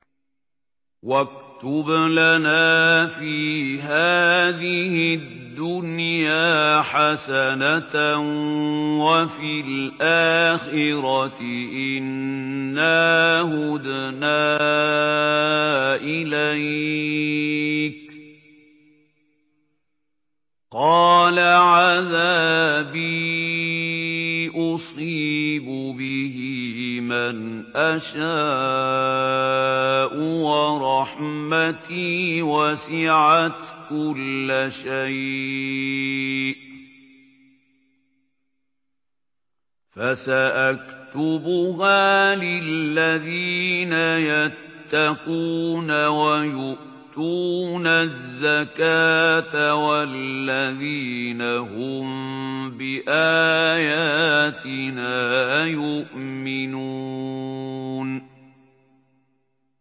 ۞ وَاكْتُبْ لَنَا فِي هَٰذِهِ الدُّنْيَا حَسَنَةً وَفِي الْآخِرَةِ إِنَّا هُدْنَا إِلَيْكَ ۚ قَالَ عَذَابِي أُصِيبُ بِهِ مَنْ أَشَاءُ ۖ وَرَحْمَتِي وَسِعَتْ كُلَّ شَيْءٍ ۚ فَسَأَكْتُبُهَا لِلَّذِينَ يَتَّقُونَ وَيُؤْتُونَ الزَّكَاةَ وَالَّذِينَ هُم بِآيَاتِنَا يُؤْمِنُونَ